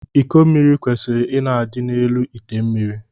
Iko mmiri kwesiri ịna adị n’elu ite mmiri